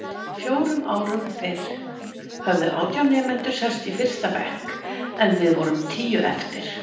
Fjórum árum fyrr höfðu átján nemendur sest í fyrsta bekk en við vorum tíu eftir.